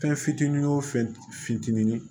Fɛn fitinin wo fɛn fitinin ye